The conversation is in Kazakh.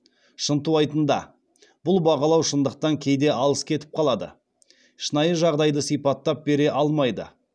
шынтуайтында бұл бағалау шындықтан кейде алыс кетіп қалады шынайы жағдайды сипаттап бере алмайды